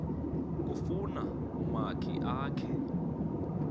kufuna umakhi akhe